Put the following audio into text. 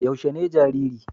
Yaushe ne jariri?